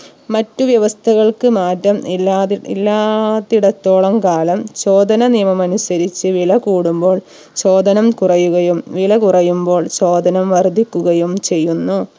മറ്റു വ്യവസ്ഥകൾക്ക് മാറ്റം ഇല്ലാതിരി ഇല്ലാആഹ് ത്തിടത്തോളം കാലം ചോദന നിയമം അനുസരിച്ച് വില കൂടുമ്പോൾ ചോദനം കുറയുകയും വില കുറയുമ്പോൾ ചോദനം വർധിക്കുകയും ചെയ്യുന്നു